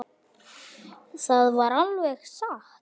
Það var alveg satt.